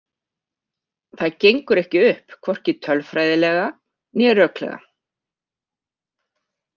Það gengur ekki upp, hvorki tölfræðilega né röklega.